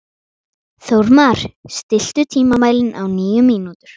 Þórmar, stilltu tímamælinn á níu mínútur.